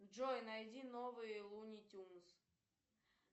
джой найди новые луни тюнс